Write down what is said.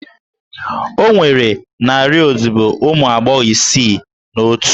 Ọ nwere narị odibo ụmụ agbọghọ isii na otu?